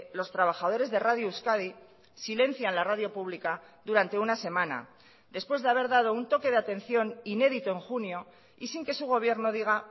los trabajadores de radio euskadi silencian la radio pública durante una semana después de haber dado un toque de atención inédito en junio y sin que su gobierno diga